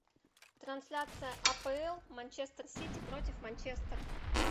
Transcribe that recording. трансляция апл манчестер сити против манчестер